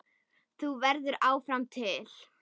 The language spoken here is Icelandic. Þú verður áfram til.